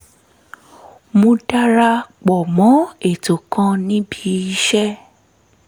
mo dara pọ̀ mọ́ ètò kan níbi iṣẹ́